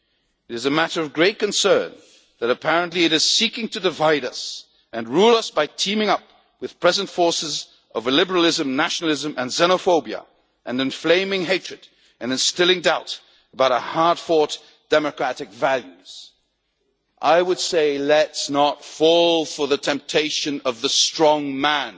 It is a matter of great concern that apparently it is seeking to divide us and rule us by teaming up with the present forces of illiberalism, nationalism and xenophobia, and inflaming hatred and instilling doubt about our hard fought democratic values. I would say, let us not fall for the temptation of the strong